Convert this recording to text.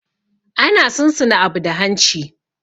Ana sun suna abu da hanci.